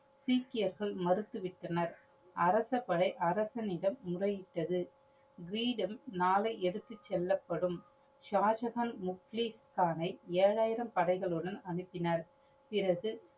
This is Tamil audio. சீக்கியர்கள் மறுத்துவிட்டனர். அரச படை அரசனிடம் முறையிட்டது. கீரிடம் நாளை எடுத்து செல்லப்படும். சாஜஹான் முக்ளிச்தானை ஏழாயிரம் படைகளுடன் அனுப்பினர். பிறகு